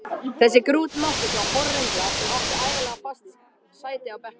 Þessi grútmáttlausa horrengla sem átti ævinlega fast sæti á bekknum!